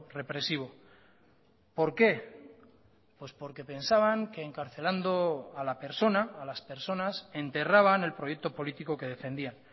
represivo por qué pues porque pensaban que encarcelando a la persona a las personas enterraban el proyecto político que defendían